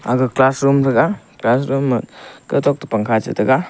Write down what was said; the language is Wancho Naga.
aga class room thaga class room ma kau tok te pangkha che tega.